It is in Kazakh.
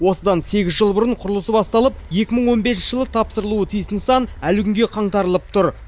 осыдан сегіз жыл бұрын құрылысы басталып екі мың он бесінші жылы тапсырылуы тиіс нысан әлі күнге қаңтарылып тұр